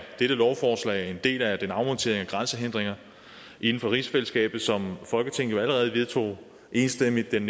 dette lovforslag en del af den afmontering af grænsehindringer inden for rigsfællesskabet som folketinget jo allerede vedtog enstemmigt den